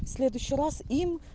следующий раз им